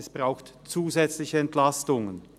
Es braucht zusätzliche Entlastungen.